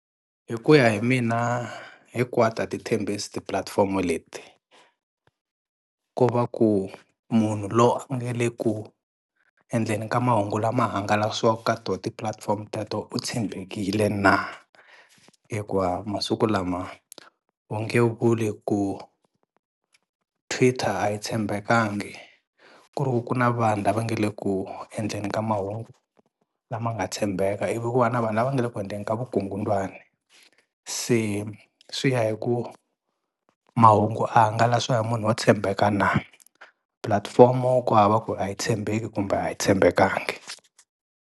Hi ku ya hi mina hinkwato a ti thembhisi ti-platform leti, ko va ku munhu lowu a nge le ku endleni ka mahungu lama hangalasiwaka ka to ti-platform teto u tshembekile na hikuva masiku lama u nge vuli ku Twitter a yi tshembekanga ku ri ku ku na vanhu lava nge le ku endleni ka mahungu lama nga tshembeka ivi ku va na vanhu lava nga le ku endleni ka vukungundzwani, se swi ya hi ku mahungu a hangalasiwa hi munhu wo tshembeka na pulatifomo ku hava ku a yi tshembeki kumbe a yi tshembekanga.